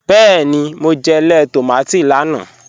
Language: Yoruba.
Bẹẹ́ni, mo jẹ̀ lẹẹ̀ tomati lánà.